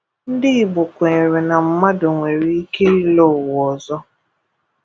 Ndị Igbo kwenyere na mmadụ nwere ike ịlọ ụwa ọzọ.